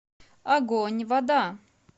огонь вода